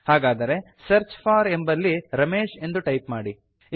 ಹಾಗಾದರೆ search for ಎಂಬಲ್ಲಿ ರಮೇಶ್ ಎಂದು ಟೈಪ್ ಮಾಡಿ